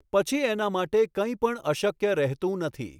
પછી એના માટે કંઈ પણ અશક્ય રહેતું નથી.